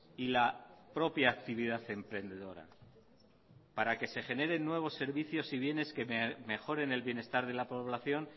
y la propia actividad emprendedora para que se generen nuevos servicios y bienes que mejoren el bienestar de la población